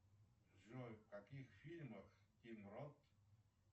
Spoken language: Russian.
джой в каких фильмах тим рот